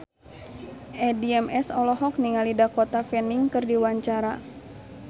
Addie MS olohok ningali Dakota Fanning keur diwawancara